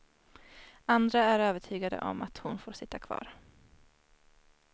Andra är övertygade om att hon får sitta kvar.